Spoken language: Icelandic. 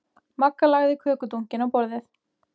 Magga lagði kökudunkinn á borðið.